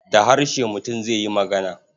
Da harshe mutum zai yi magana.